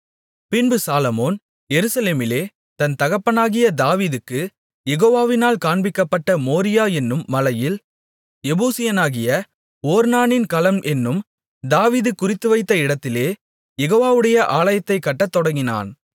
பின்பு சாலொமோன் எருசலேமிலே தன் தகப்பனாகிய தாவீதுக்குக் யெகோவாவினால் காண்பிக்கப்பட்ட மோரியா என்னும் மலையில் எபூசியனாகிய ஒர்னானின் களம் என்னும் தாவீது குறித்துவைத்த இடத்திலே யெகோவாவுடைய ஆலயத்தைக் கட்டத் தொடங்கினான்